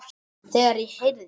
Þegar ég heyrði